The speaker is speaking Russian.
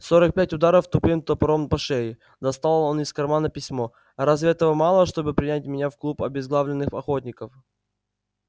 сорок пять ударов тупым топором по шее достал он из кармана письмо разве этого мало чтобы принять меня в клуб обезглавленных охотников